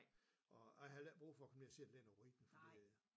Og jeg havde heller ikke brug for at komme ned og se der ligger noget ruin for det